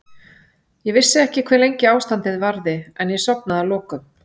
Ég vissi ekki hve lengi ástandið varði en ég sofnaði að lokum.